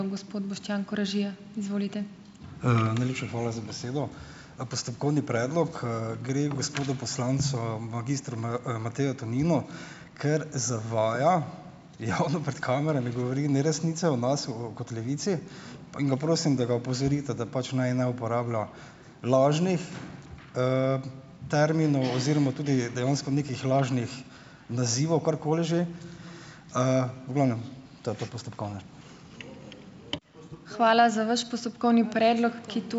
Najlepša hvala za besedo. Postopkovni predlog, gre gospodu poslancu magistru Mateju Toninu, ker zavaja. Javno pred kamerami govori neresnice o nas o kot Levici in ga prosim, da ga opozorite, da pač naj ne uporablja lažnih terminov oziroma tudi dejansko nekih lažnih nazivov karkoli že. V glavnem to je po postopkovnem.